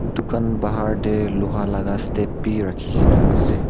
dukan bahar teh loha laga step bi rakhi kena ase.